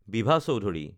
Bibha Choudhury